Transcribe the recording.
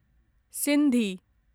Sindhi